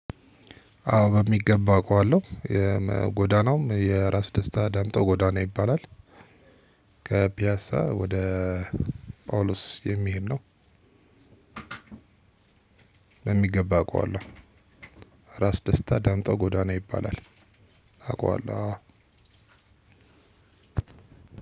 አዎ በሚገባ አውቀዋለሁ ጎዳናውም የራስ ደስታ ዳምጠው ጎዳና ይባላል። ከፒያሳ ወደ ጳውሎስ የሚሄድ ነው። በሚገባ አውቀዋለሁ። ራስ ደስታ ዳምጠው ጎዳና ይባላል። አውቀዋለሁ አወ።